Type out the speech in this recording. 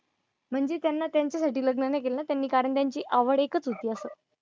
म्हणजे त्यांना त्यांच्यासाठी लग्न नाही केलं त्यांनी, कारण त्यांची आवड एकच होती असं.